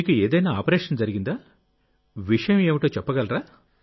మీకు ఏదైనా ఆపరేషన్ జరిగిందా విషయమేమిటో చెప్పగలరా